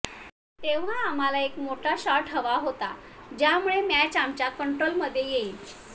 तेव्हा आम्हाला एक मोठा शॉट हवा होता ज्यामुळे मॅच आमच्या कंट्रोलमध्ये येईल